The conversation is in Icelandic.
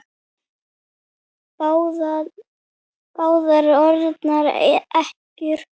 Báðar orðnar ekkjur.